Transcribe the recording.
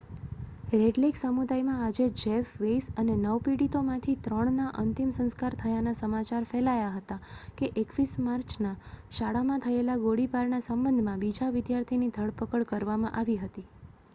red Lake સમુદાયમાં આજે Jeff Weise અને નવ પીડિતોમાંથી ત્રણનાં અંતિમ સંસ્કાર થયાના સમાચાર ફેલાયા હતા કે 21 માર્ચના શાળામાં થયેલા ગોળીબારના સંબંધમાં બીજા વિદ્યાર્થીની ધરપકડ કરવામાં આવી હતી